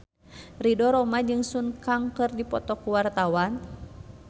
Ridho Roma jeung Sun Kang keur dipoto ku wartawan